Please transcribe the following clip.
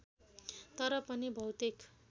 तर पनि भौतिक